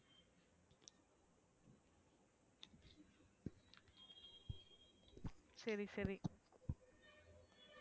சரி சரி,